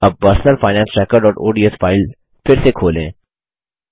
अब personal finance tracker ODS file फिर से खोलें